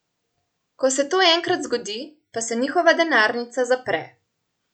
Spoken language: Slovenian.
Ko se to enkrat zgodi, pa se njihova denarnica zapre.